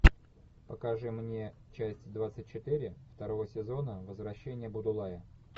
покажи мне часть двадцать четыре второго сезона возвращение будулая